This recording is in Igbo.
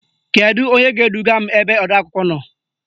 Kedu onye ga-eduga m ebe odeakwụkwọ nọ?